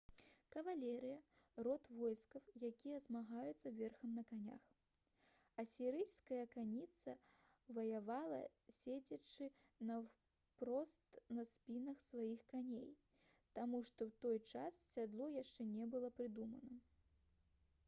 кавалерыя род войскаў якія змагаюцца верхам на конях асірыйская конніца ваявала седзячы наўпрост на спінах сваіх коней таму што ў той час сядло яшчэ не было прыдумана